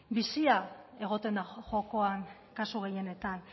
bizia egoten da jokoan kasu gehienetan